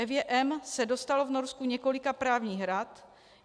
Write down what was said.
Evě M. se dostalo v Norsku několika právních rad.